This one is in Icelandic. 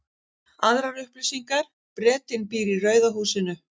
Aðrar upplýsingar: Bretinn býr í rauða húsinu.